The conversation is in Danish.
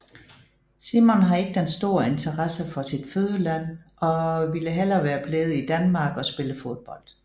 Simon har ikke den store interesse for sit fødeland og ville hellere være blevet i Danmark og spille fodbold